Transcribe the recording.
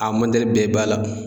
A mɔdɛli bɛɛ b'a la.